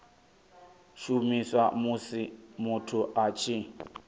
shumiswa musi muthu a tshi